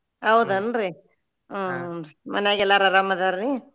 ಹೌದೇನ್ರೀ ಹುಂ ರೀ ಮನ್ಯಾಗ ಎಲ್ಲಾರ್ ಆರಾಮ್ ಅದಾರಿ?